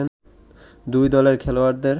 দুই দলের খেলোয়াড়দের